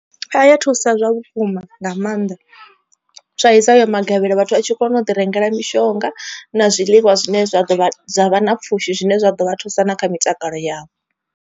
A ya thusa zwa vhukuma nga maanḓa, sa izwi hayo magavhelo vhathu vha tshi kona u ḓi rengela mishonga na zwiḽiwa zwine zwa ḓovha zwa vha na pfhushi zwine zwa ḓo vha thusa na kha mitakalo yavho.